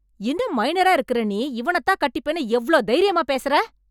இன்னும் மைனரா இருக்கற நீ, இவனதான் கட்டிப்பேன்னு எவ்ளோ தைரியமா பேசறே...